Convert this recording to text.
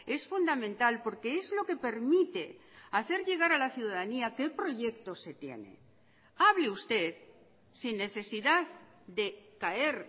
es fundamental porque es lo que permite hacer llegar a la ciudadanía qué proyectos se tiene hable usted sin necesidad de caer